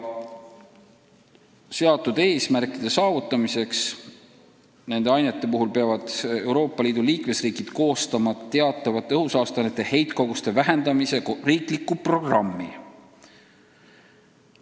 Seatud eesmärkide saavutamiseks peavad Euroopa Liidu liikmesriigid koostama teatud õhusaasteainete heitkoguste vähendamise riikliku programmi.